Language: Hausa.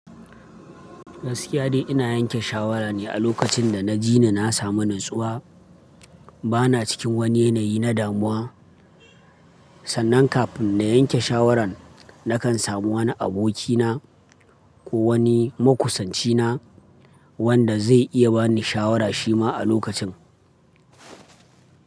Gaskiya dai ina yanke shawara ne a lokacin da na ji na samu natsuwa. Bana cikin wani yanayi na damuwa. Sannan kafin na yanke shawaran nakan samu wani abokina ko wani makusancina wanda zai iya bani shawara shi ma a lokacin.